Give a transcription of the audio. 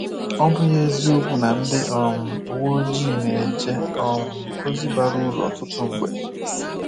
Ọ̀ bụghị eziokwu na ndị um uwe ojii na-eje um ozi bara uru ọtụtụ mgbe?